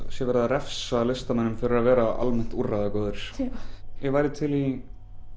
sé verið að refsa listamönnum fyrir að vera almennt úrræðagóðir ég væri til í